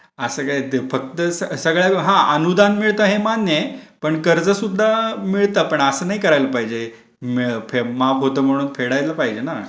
असं काय ते फक्त सगळ्यांना अनुदान मिळत आहे मान्य आहे पण कर्ज सुद्धा मिळत पण असं नाही करायला पाहिजे. माफ होता म्हणून फेडायला पाहजे ना.